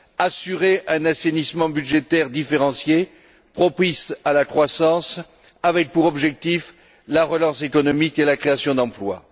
assurer un assainissement budgétaire différencié, propice à la croissance, avec pour objectifs, la relance économique et la création d'emplois